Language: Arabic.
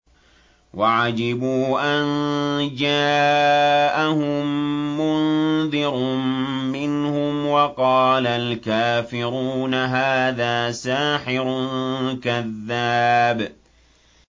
وَعَجِبُوا أَن جَاءَهُم مُّنذِرٌ مِّنْهُمْ ۖ وَقَالَ الْكَافِرُونَ هَٰذَا سَاحِرٌ كَذَّابٌ